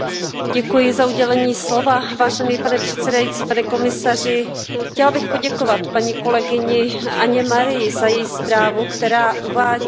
Pane předsedající, pane komisaři, chtěla bych poděkovat kolegyni Anně Marii za její zprávu, která uvádí mnoho návrhů na zlepšení.